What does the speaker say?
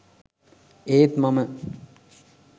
ඒත් මම